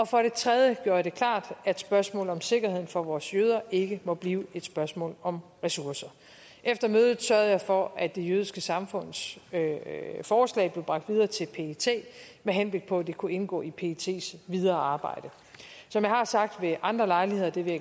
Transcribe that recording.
for det tredje gjorde jeg det klart at spørgsmålet om sikkerheden for vores jøder ikke må blive et spørgsmål om ressourcer efter mødet sørgede jeg for at det jødiske samfunds forslag blev bragt videre til pet med henblik på at det kunne indgå i pets videre arbejde som jeg har sagt ved andre lejligheder og det vil